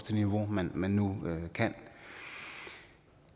niveau man man nu kan